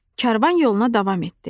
Karvan yoluna davam etdi.